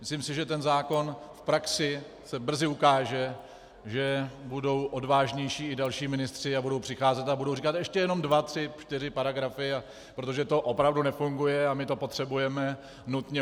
Myslím si, že ten zákon v praxi se brzy ukáže, že budou odvážnější i další ministři a budou přicházet a budou říkat: "Ještě jenom dva, tři, čtyři paragrafy, protože to opravdu nefunguje a my to potřebujeme nutně.